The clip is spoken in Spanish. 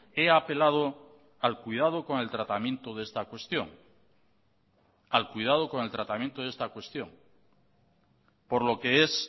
he apelado al cuidado con el tratamiento de esta cuestión al cuidado con el tratamiento de esta cuestión por lo que es